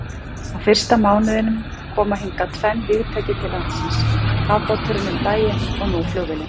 Á fyrsta mánuðinum koma hingað tvenn vígtæki til landsins, kafbáturinn um daginn og nú flugvélin.